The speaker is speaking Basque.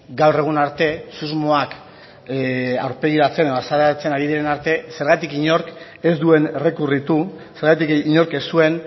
gaur egun arte susmoak aurpegiratzen edo azalarazten ari diren arte zergatik inork ez duen errekurritu zergatik inork ez zuen